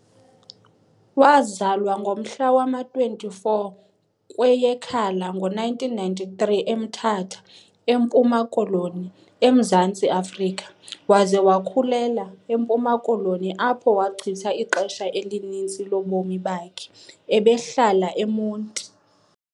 Wazalwa ngomhla wama-24 kweyeKhala ngo-1993 eMthatha, eMpuma Koloni, eMzantsi Afrika, waze wakhulela, eMpuma Koloni, apho wachitha ixesha elininzi lobomi bakhe ebehlala eMonti.